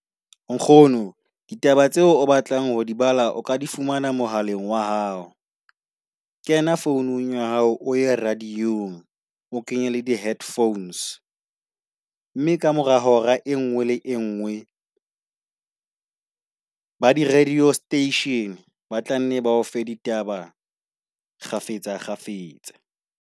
Nkgono ditaba tseo o batlang ho dibala o ka di fumana mohaleng wa hao, Kena founung ya hao. O ye radio-ng o kenye le di headphones. Mme ka mora hora e nngwe le e nngwe ba di radio station ba tlanne bao fe ditaba kgafetsa kgafetsa.